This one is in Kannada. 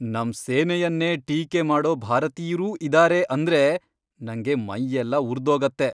ನಮ್ ಸೇನೆಯನ್ನೇ ಟೀಕೆ ಮಾಡೋ ಭಾರತೀಯ್ರೂ ಇದಾರೆ ಅಂದ್ರೆ ನಂಗೆ ಮೈಯೆಲ್ಲ ಉರ್ದೋಗತ್ತೆ.